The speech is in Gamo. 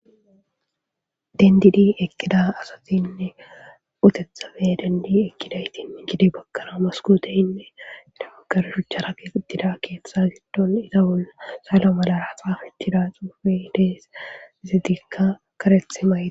dendidi eqida asatinne utethafe dendi ekkidaytin gede bakkara maskooteyinne damagarshucha rakeqitida keeththa gitdon ita bolla sala malara xafichida xuufi dees zidikka karethimayida